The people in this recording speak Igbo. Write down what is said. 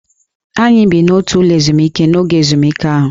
Anyị bi n'otu ụlọ ezumike n'oge ezumike ahụ